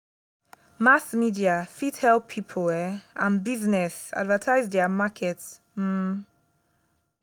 mass media fit help pipo um and business advertise their market um